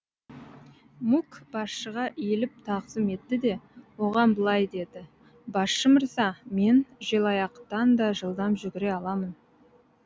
мук басшыға иіліп тағзым етті де оған былай деді басшы мырза мен желаяқтан да жылдам жүгіре аламын